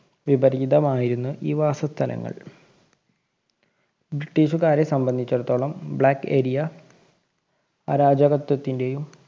വിപരീതമായിരുന്നു ഈ വാസസ്ഥലങ്ങള്‍. ബ്രിട്ടീഷുകാരെ സംബന്ധിച്ചിടത്തോളം black area അരാചകത്വത്തിന്റെയും